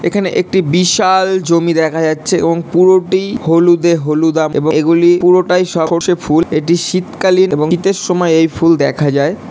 এখানে একটি বিশাআআল জমি দেখা যাচ্ছে এবং পুরোটি হলুদে হলুদ আম এবং এগুলি পুরোটাই সরষে ফুল একটি শীতকালীন এবং শীতে সময় এই ফুল দেখা যায়।